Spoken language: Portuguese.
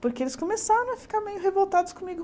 Porque eles começaram a ficar meio revoltados comigo.